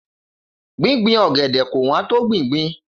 Gbíngbin ọ̀gẹ̀dẹ̀ kò wón to gbìngbin